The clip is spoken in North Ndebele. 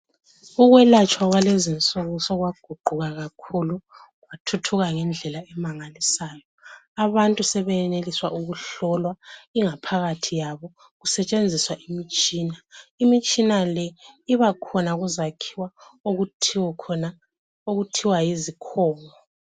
Ukwelatshwa kwalezi insuku sokwaguquka kakhulu, kwathuthuka ngendlela emangalisayo. Abantu sebeyeneliswa ukuhlolwa ingaphakathi yabo kusetshenziswa imitshina. Imitshina le ibakhona kuzakhiwo okuthiwa yiZICOM.